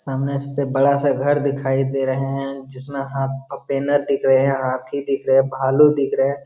सामने से ते बड़ा सा घर दिखाई दे रहे हैं जिसमें बैनर दिख रहे है हाथी दिख रहे है भालू दिख रहे है।